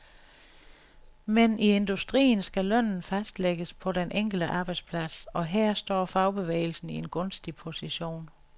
Men i industrien skal lønnen fastlægges på den enkelte arbejdsplads, og her står fagbevægelsen i en gunstig position.